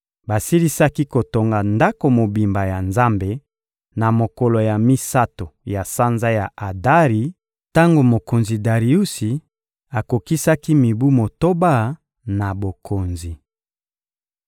Basilisaki kotonga Ndako mobimba ya Nzambe, na mokolo ya misato ya sanza ya Adari, tango mokonzi Dariusi akokisaki mibu motoba na bokonzi.